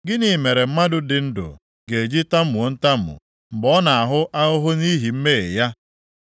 Gịnị mere mmadụ dị ndụ ga-eji tamuo ntamu mgbe ọ na-ahụ ahụhụ nʼihi mmehie ya?